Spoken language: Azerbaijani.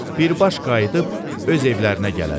Birbaş qayıdıb öz evlərinə gələrlər.